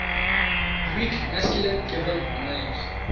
greek masculine given names